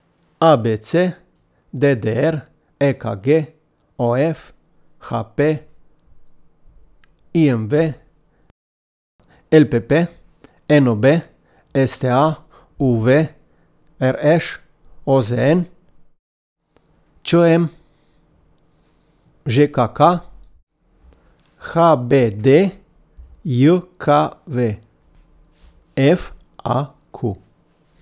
A B C; D D R; E K G; O F; H P; I M V; L P P; N O B; S T A; U V; R Š; O Z N; Č M; Ž K K; H B D J K V; F A Q.